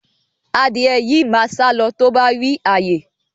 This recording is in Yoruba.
Adìẹ yìí máa sálọ tó bá rí ààyè